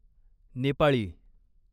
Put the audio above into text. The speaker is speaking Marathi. नेपाळी